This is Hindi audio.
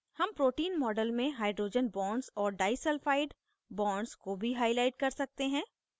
हम protein model में hydrogen bonds और diसल्फाइड bonds को भी highlight कर सकते हैं